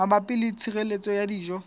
mabapi le tshireletso ya dijo